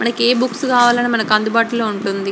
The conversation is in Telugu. మనకి ఏ బుక్స్ కావాలి అన్నా అడుబతులో ఉంటుంది.